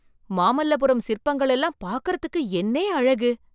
மாமல்லபுரம் சிற்பங்கள் எல்லாம் பாக்குறதுக்கு என்னே அழகு!